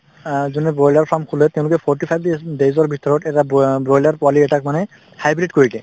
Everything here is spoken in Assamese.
অ যোনে broiler farm খোলে তেওঁলোকে forty five day days ৰ ভিতৰত এটা bro broiler পোৱালি এটাক মানে কৰি hybrid দিয়ে